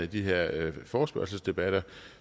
de her forespørgselsdebatter